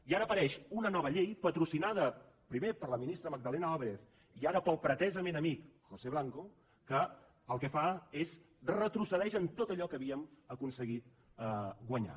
i ara apareix una nova llei patrocinada primer per la ministra magdalena álvarez i ara pel pretesament amic josé blanco que el que fa és retrocedir en tot allò que havíem aconseguit guanyar